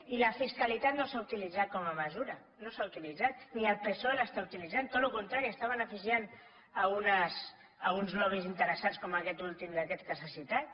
i la fiscalitat no s’ha utilitzat com a mesura no s’ha utilitzat ni el psoe l’està utilitzant tot el contrari està beneficiant uns lobbys interessats com aquest últim d’aquests que s’ha citat